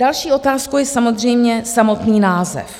Další otázkou je samozřejmě samotný název.